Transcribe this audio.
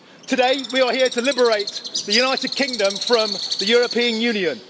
Today, we are here to liberate the United Kingdom from the European Union.